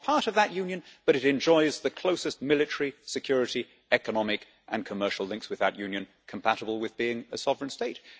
it is not part of that union, but it enjoys the closest military security, economic and commercial links with that union compatible with being a sovereign state.